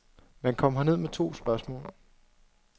Man kom herned med to spørgsmål.